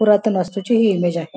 पुरातन असण्याची हि इमेज आहे.